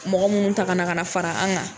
Mɔgɔ munnu ta ka na ka fara an kan.